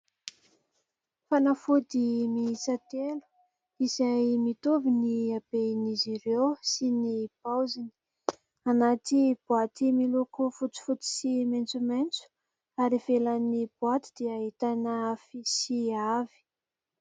fanafody miisa telo, izay mitovy ny haben'izy ireo sy ny paoziny anaty boaty miloko fotsifotsy sy maitsomaitso ary ivelan'ny boaty dia ahitana fisy avy.